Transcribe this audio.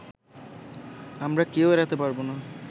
আমরা কেউ এড়াতে পারবো না